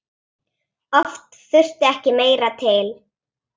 Oft þurfti ekki meira til.